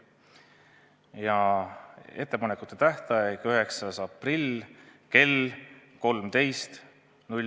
Ja muudatusettepanekute tähtaeg on 9. aprill kell 13.